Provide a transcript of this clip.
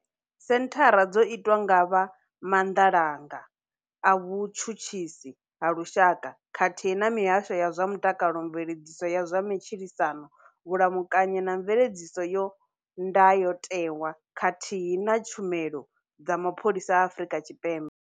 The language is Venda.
Senthara dzo itwa nga vha Maanḓalanga a Vhutshutshisi ha Lushaka, khathihi na mihasho ya zwa Mutakalo, Mveledziso ya zwa Matshilisano, Vhulamukanyi na Mveledziso ya Ndayotewa, khathihi na Tshumelo dza Mapholisa a Afrika Tshipembe.